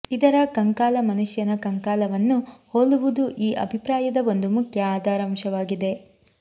ಇದರ ಕಂಕಾಲ ಮನುಷ್ಯನ ಕಂಕಾಲವನ್ನು ಹೋಲುವುದೂ ಈ ಅಭಿಪ್ರಾಯದ ಒಂದು ಮುಖ್ಯ ಆಧಾರಾಂಶವಾಗಿದೆ